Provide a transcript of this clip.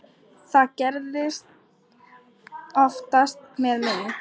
Það gerist oftast með mig.